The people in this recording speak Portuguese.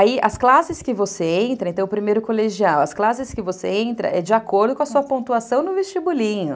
As classes que você entra, então, o primeiro colegial, as classes que você entra é de acordo com a sua pontuação no vestibulinho.